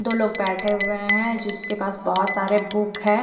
दो लोग बेठे हुए है जिसके पास बोहोत सारे बुक है।